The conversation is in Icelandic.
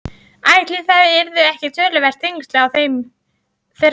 Ætli það yrðu ekki töluverð þyngsli á þeirri teskeið.